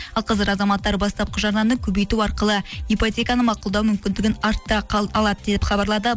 ал қазір азаматтар бастапқы жарнаны көбейту арқылы ипотеканы мақұлдау мүмкіндігін арттыра алады деп хабарлады